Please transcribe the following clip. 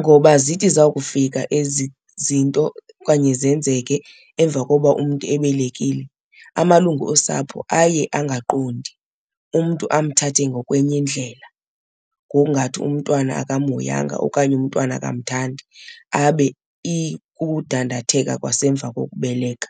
Ngoba zithi zawukufika ezi zinto okanye zenzeke emva koba umntu ebelekile, amalungu osapho aye angaqondi, umntu amthathe ngokwenye indlela ngokungathi umntwana akamhoyanga okanye umntwana akamthandi abe ikudandatheka kwasemva kokubeleka.